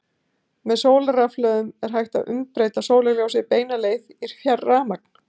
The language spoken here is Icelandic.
með sólarrafhlöðum er hægt að umbreyta sólarljósi beina leið í rafmagn